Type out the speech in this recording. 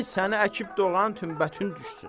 Ay səni əkib doğanın tümbətün düşsün!